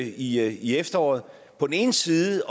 i i efteråret på den ene side